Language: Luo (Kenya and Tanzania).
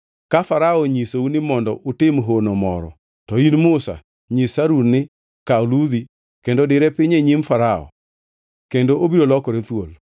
“Ka Farao onyisou ni mondo utim hono moro, to in Musa nyis Harun ni, ‘Kaw ludhi kendo dire piny e nyim Farao,’ kendo obiro lokore thuol.”